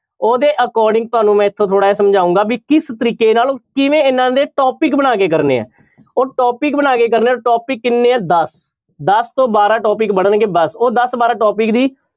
ਉਹਦੇ according ਤੁਹਾਨੂੰ ਮੈਂ ਇੱਥੋਂ ਥੋੜ੍ਹਾ ਜਿਹਾ ਸਮਝਾਊਂਗਾ ਵੀ ਕਿਸ ਤਰੀਕੇ ਨਾਲ ਕਿਵੇਂ ਇਹਨਾਂ ਦੇ topic ਬਣਾ ਕੇ ਕਰਨੇ ਹੈ ਉਹ topic ਬਣਾ ਕੇ ਕਰਨੇ ਹੈ, topic ਕਿੰਨੇ ਆਂ ਦਸ, ਦਸ ਤੋਂ ਬਾਰਾਂ topic ਬਣਨਗੇ ਬਸ ਉਹ ਦਸ ਬਾਰਾਂ topic ਦੀ